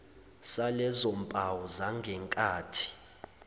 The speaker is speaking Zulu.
salezo mpawu zangenkathi